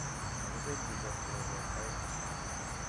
Makibeelchindos kirogon aeng